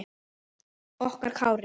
Okkar Kári.